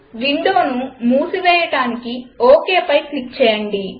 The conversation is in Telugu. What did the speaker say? విండోను మూసివేయడానికి OKపై క్లిక్ చేయండి